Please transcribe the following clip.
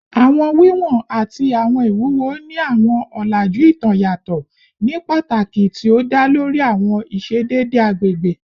Awọn wiwọn ati awọn iwuwo ni awọn ọlaju itan yatọ ni pataki ti o da lori awọn iṣedede agbegbe